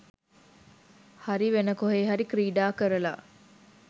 හරි වෙන කොහේ හරි ක්‍රීඩා කරලා